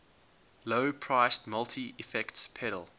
low priced multi effects pedal